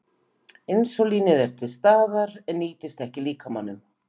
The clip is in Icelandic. Insúlínið er til staðar en nýtist ekki líkamanum.